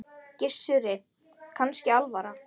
Gissuri kannski alvara.